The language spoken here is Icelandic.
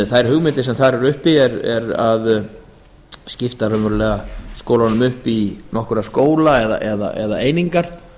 þær hugmyndir sem þar eru uppi eru á þann veg að skipta skólunum upp í nokkra skóla eða einingar